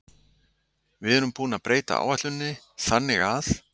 Við erum búin að breyta áætluninni þannig að.